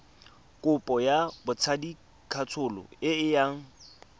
kopo ya botsadikatsholo e yang